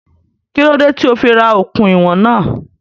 Kí ló dé tí ó fí ra okùn ìwọ̀n náà?